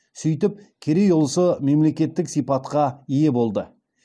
сөйтіп керей ұлысы мемлекеттік сипатқа ие болды